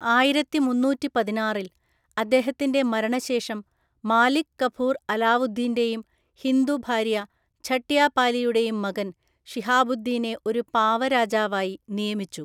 ആയിരത്തി മുന്നൂറ്റി പതിനാറില്‍ അദ്ദേഹത്തിന്റെ മരണശേഷം, മാലിക് കഫൂർ അലാവുദ്ദീന്റെയും ഹിന്ദു ഭാര്യ ഝട്യാപാലിയുടെയും മകൻ ഷിഹാബുദ്ദീനെ ഒരു പാവ രാജാവായി നിയമിച്ചു.